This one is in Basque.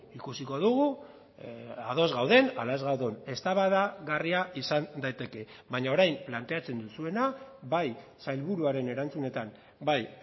ikusiko dugu ados gauden ala ez gauden eztabaidagarria izan daiteke baina orain planteatzen duzuena bai sailburuaren erantzunetan bai